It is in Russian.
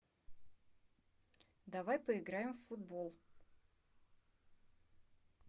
давай поиграем в футбол